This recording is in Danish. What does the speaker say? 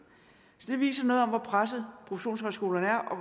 det viser noget om hvor presset professionshøjskolerne er og